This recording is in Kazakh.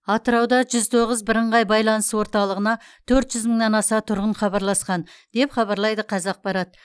атырауда жүз тоғыз бірыңғай байланыс орталығына төрт жүз мыңнан аса тұрғын хабарласқан деп хабарлайды қазақпарат